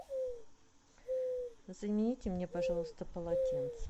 замените мне пожалуйста полотенце